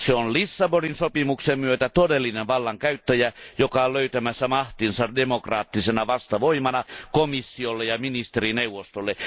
Se on Lissabonin sopimuksen myötä todellinen vallankäyttäjä, joka on löytämässä mahtinsa demokraattisena vastavoimana komissiolle ja ministerineuvostolle.